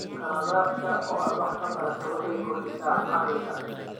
Qaladaadka oo aad wax ka barataa waxay kordhisaa caqliga.